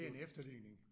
Det er en efterligning